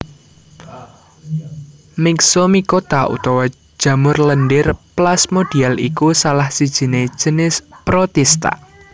Myxomicota utawa jamur lendhir plasmodial iku salah sijiné jinis protista